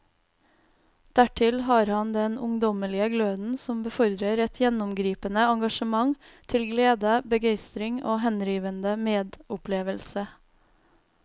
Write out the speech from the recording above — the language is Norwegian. Dertil har han den ungdommelige gløden som befordrer et gjennomgripende engasjement til glede, begeistring og henrivende medopplevelse.